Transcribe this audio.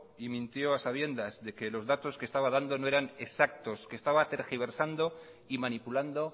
y mintió a sabiendas de que los datos que estaban dando no eran exactos que estaba tergiversando y manipulando